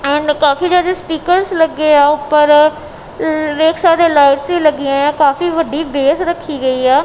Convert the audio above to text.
And ਕਾਫੀ ਜਿਆਦਾ speakers ਲੱਗੇ ਆ ਉੱਪਰ ਵੇਖ ਸਕਦੇ ਲਾਈਟਸ ਵੀ ਲੱਗੀ ਆ ਕਾਫੀ ਵੱਡੀ ਬੇਸ ਰੱਖੀ ਗਈ ਐ।